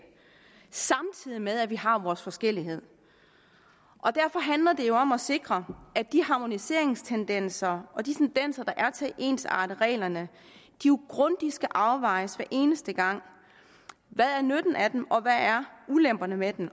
samtidig med at vi har vores forskelligheder derfor handler det jo om at sikre at de harmoniseringstendenser og de tendenser der er til at ensarte reglerne grundigt skal afvejes hver eneste gang hvad er nytten af dem og hvad er ulemperne ved dem